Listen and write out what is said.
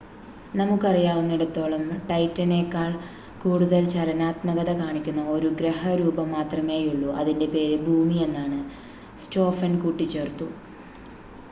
നമുക്കറിയാവുന്നിടത്തോളം ടൈറ്റനേക്കാൾ കൂടുതൽ ചലനാത്മകത കാണിക്കുന്ന ഒരു ഗ്രഹ രൂപം മാത്രമേയുള്ളു അതിൻ്റെ പേര് ഭൂമി എന്നാണ് സ്‌റ്റോഫൻ കൂട്ടിച്ചേർത്തു